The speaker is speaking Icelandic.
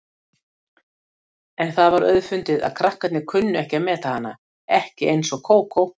En það var auðfundið að krakkarnir kunnu ekki að meta hana, ekki eins og Kókó.